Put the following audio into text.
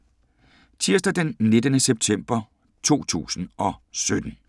Tirsdag d. 19. september 2017